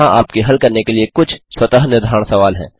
यहाँ आपके हल करने के लिए कुछ स्वतः निर्धारण सवाल हैं